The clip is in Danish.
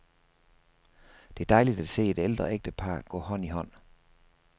Det er dejligt at se et ældre ægtepar gå hånd i hånd.